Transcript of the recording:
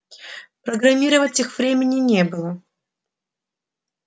программировать их времени не было